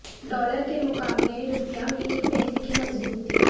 dollar کے مقابلے روپیہ میں ایک پیسہ کی مضبوطی